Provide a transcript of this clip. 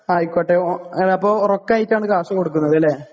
ആയിക്കോട്ടെ. അപ്പൊ റൊക്കം ആയിട്ടാണ് കാശ് കൊടുക്കുന്നത് അല്ലേ?